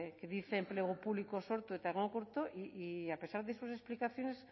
que dice enplegu publikoa sortu eta egonkortu y a pesar de sus explicaciones